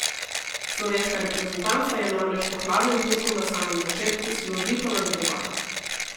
Slovenska reprezentanca je namreč po hladnem tušu na samem začetku, silovito nadaljevala.